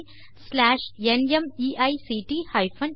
தமிழாக்கம் சென்னையிலிருந்து நித்யா